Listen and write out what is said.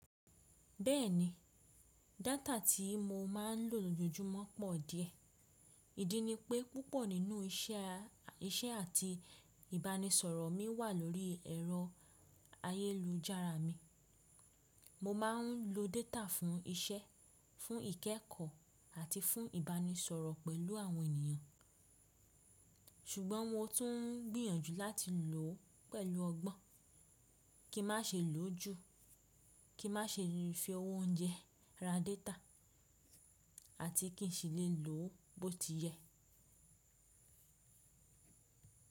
Bẹ́ẹ̀ni, data tí mo máa ń lò lójoojúmọ́ pọ̀ díẹ̀. Ìdí ni pé púpọ̀ nínú iṣẹ́ àti ìbánisọ̀rọ̀ mi wà lórí ẹ̀rọ ayélujára mi. Mo máa ń lo data fún iṣẹ́, fún ìkẹ́ẹ̀kọ́ àti fún ìbánisọ̀rọ̀ pẹ̀lú àwọn ènìyàn. Ṣùgbọ́n mo tún gbìyànjú láti lò ó pẹ̀lú ọgbọ́n, kí n má ṣe lò ó jù, kí n má ṣe fi owó oúnjẹ ra data àti kí n sì lè lò ó bó ti yẹ.